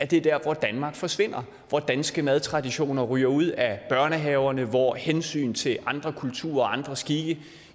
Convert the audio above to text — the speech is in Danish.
det er der hvor danmark forsvinder hvor danske madtraditioner ryger ud af børnehaverne hvor hensyn til andre kulturer og andre skikke